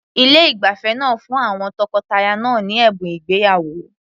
Ilé ìgbafẹ́ náà fún àwọn tọkọtaya náà ní ẹ̀bùn ìgbéyàwó.